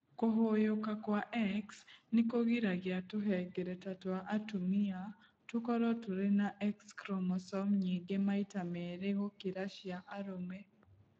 Kũhũyũka kwa X nĩ kũgiragia tũhengereta twa atumia tũkorũo tũrĩ na X chromosome nyingĩ maita merĩ gũkĩra cia arũme.